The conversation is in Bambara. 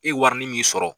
E warini min sɔrɔ